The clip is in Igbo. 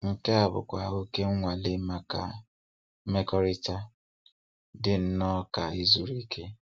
Nke a bụkwa oké nnwale maka mmekọrịta, dị nnọọ ka ịzụrụ Ikea.